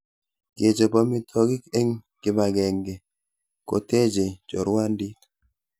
Kechop amitwogik eng kipakenge kotechei chorwandit